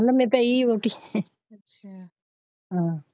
ਲੰਬੇ ਪਈ ਹੋਰ ਕੀ ਅੱਛਾ ਹਮ।